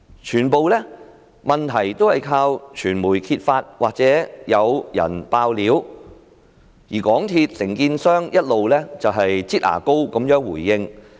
全部問題都是靠傳媒揭發，或者有人"爆料"，而港鐵公司的承建商一直"擠牙膏"式地回應。